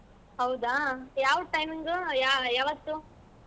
ಹೌದಾ ಯಾವ್ timing ಯಾವ್~ ಯಾವತ್ತು?